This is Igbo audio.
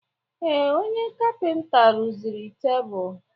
Ee, onye kapịnta rụziri tebụl.